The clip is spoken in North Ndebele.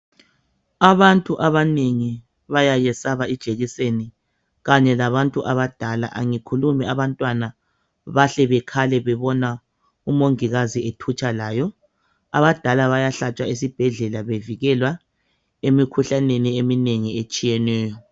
Abantu abanengi bayayiyesaba ijekiseni kanye labantu abadala angikhulumi abantwana bahle bekhale bebona umongikazi ethutsha layo abadala bayahlatshwa esibhedlela bevikela